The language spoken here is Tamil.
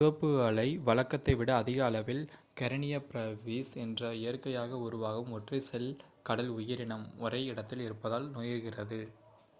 சிவப்பு அலை வழக்கத்தை விட அதிக அளவில் கரெனியா ப்ரேவிஸ் என்ற இயற்கையாக உருவாகும் ஒற்றைச் செல் கடல் உயிரினம் ஒரே இடத்தில் இருப்பதால் நேர்கிறது